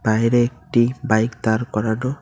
বাইরে একটি বাইক দাঁড় করানো।